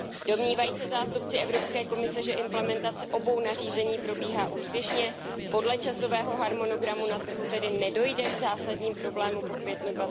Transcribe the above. Domnívají se zástupci Evropské komise, že implementace obou nařízení probíhá úspěšně podle časového harmonogramu a na trhu tedy nedojde k zásadním problémům po květnu